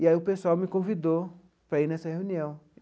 E aí o pessoal me convidou para ir nessa reunião.